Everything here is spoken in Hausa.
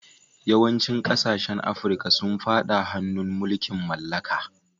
Yawancin kasashen Afirka sun fada hannun mulkin mallaka.